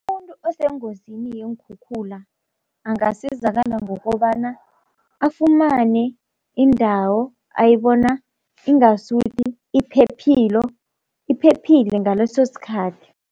Umuntu osengozini yeenkhukhula angasizakala ngokobana afumane indawo ayibona ingasuthi iphephilo, iphephile ngaleso sikhathi.